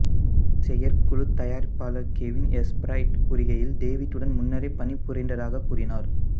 செயற்குழுத் தயாரிப்பாளர் Kevin S Bright கூறுகையில் டேவிட்டுடன் முன்னரே பணிபுரிந்ததாகக் கூறினார்